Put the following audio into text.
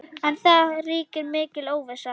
En það ríkir mikil óvissa.